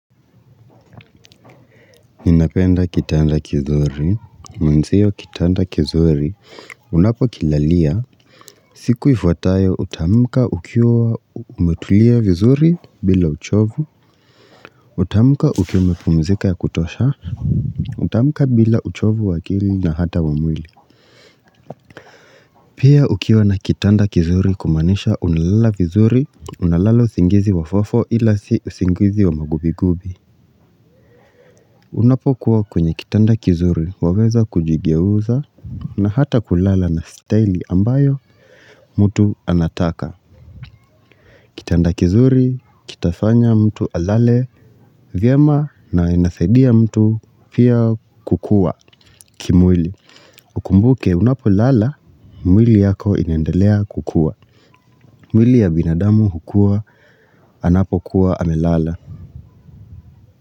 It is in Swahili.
Ninapenda kitanda kizuri, mwenzio kitanda kizuri, unapokilalia, siku ifuatayo utaamka ukiwa umetulia vizuri bila uchovu, utamka ukiwa umepumzika ya kutosha, utamka bila uchovu wakili na hata wa mwili. Pia ukiwa na kitanda kizuri kumanisha unalala vizuri, unalala singizi wa fo fo ila sio usingizi wa magubi gubi. Unapo kuwa kwenye kitanda kizuri waweza kujigeuza na hata kulala na style ambayo mtu anataka. Kitanda kizuri, kitafanya mtu alale, vyema na inasaidia mtu pia kukua kimwili. Ukumbuke unapo lala, mwili yako inendelea kukua. Mwili ya binadamu hukua anapo kuwa amelala.